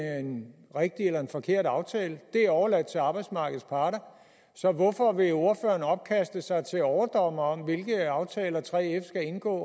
er en rigtig eller en forkert aftale det er overladt til arbejdsmarkedets parter så hvorfor vil ordføreren ophøje sig til overdommer over hvilke aftaler og 3f skal indgå